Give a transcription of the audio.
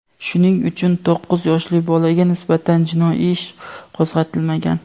shuning uchun to‘qqiz yoshli bolaga nisbatan jinoiy ish qo‘zg‘atilmagan.